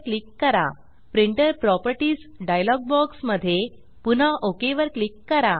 printer properties printer properties dialog box मध्ये पुन्हा okay okay वर क्लिक करा